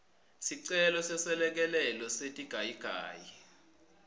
sicelo seselekelelo setigayigayi